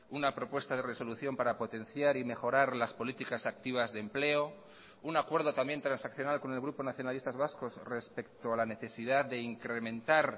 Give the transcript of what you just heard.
una propuesta de resolución para potenciar y mejorar las políticas activas de empleo un acuerdo también transaccional con el grupo nacionalistas vascos respecto a la necesidad de incrementar